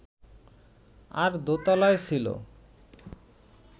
আর দোতলায় ছিল